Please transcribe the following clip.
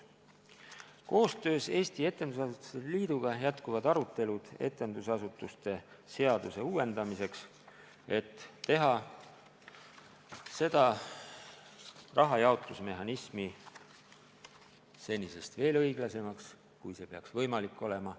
Koostöös Eesti Etendusasutuste Liiduga jätkuvad arutelud etendusasutuste seaduse uuendamiseks, et teha rahajaotusmehhanism senisest veel õiglasemaks, kui see peaks võimalik olema.